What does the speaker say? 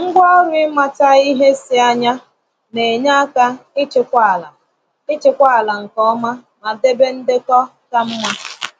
Ngwaọrụ ịmata ihe si anya na-enye aka ịchịkwa ala ịchịkwa ala nke ọma ma debe ndekọ ka mma.